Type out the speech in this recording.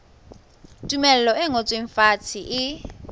tumello e ngotsweng fatshe e